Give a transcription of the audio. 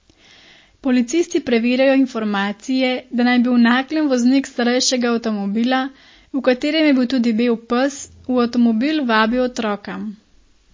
Policisti preverjajo informacije, da naj bi v Naklem voznik starejšega avtomobila, v katerem je bil tudi bel pes, v avtomobil vabil otroka.